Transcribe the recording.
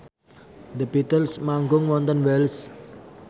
The Beatles manggung wonten Wells